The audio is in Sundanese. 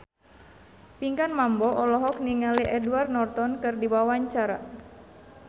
Pinkan Mambo olohok ningali Edward Norton keur diwawancara